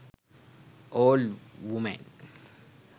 old women